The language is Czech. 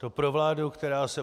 To pro vládu, která se